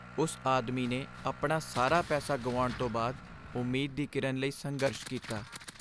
ਉਸ ਆਦਮੀ ਨੇ ਆਪਣਾ ਸਾਰਾ ਪੈਸਾ ਗੁਆਉਣ ਤੋਂ ਬਾਅਦ ਉਮੀਦ ਦੀ ਕਿਰਨ ਲਈ ਸੰਘਰਸ਼ ਕੀਤਾ।